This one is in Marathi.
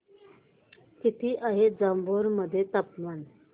किती आहे जांभोरा मध्ये तापमान